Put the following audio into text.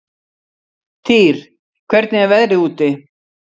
Týr, hvernig er veðrið úti?